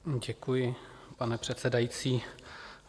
Děkuji, pane předsedající.